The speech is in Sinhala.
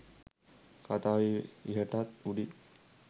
කතාව ඉහටත් උඩින්.